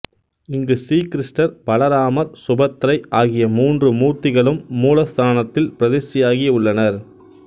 இங்கு ஸ்ரீ கிருஷ்ணர் பலராமர் சுபத்திரை ஆகிய மூன்று மூர்த்திகளும் மூலஸ்தானத்தில் பிரதிஷ்டையாகி உள்ளனர்